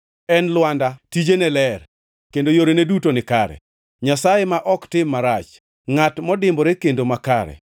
En Lwanda, tijene ler kendo yorene duto nikare; Nyasaye ma ok tim marach, ngʼat modimbore kendo makare.